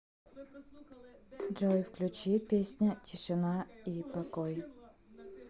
джой включи песня тишина и покой